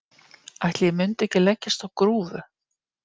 Ætli ég mundi ekki leggjast á grúfu.